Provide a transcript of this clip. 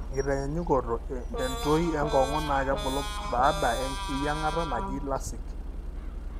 tenkitanyanyukoto, entoi enkongu na kebulu baada eyiangata naji LASIK,